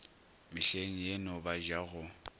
mehleng yeno ba ja go